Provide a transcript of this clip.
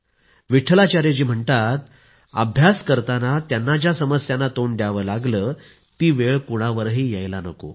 विट्ठलाचार्य जी म्हणतात अभ्यास करताना त्यांना ज्या समस्यांना तोंड द्यावं लागलं ती वेळ कुणावरही यायला नको